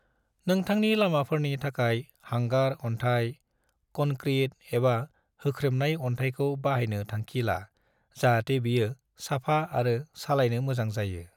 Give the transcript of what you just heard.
नोंथांनि लामाफोरनि थाखाय हांगार अन्थाइ, कनक्रिट, एबा होख्रेमनाय अनथाइखौ बाहायनो थांखि ला जाहाते बेयो साफा आरो सालायनो मोजां जायो।